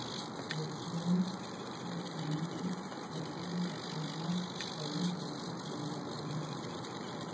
restaurant سے کھانے کی ترسیل تقریبا فوری طور پر کیا جاتا ہے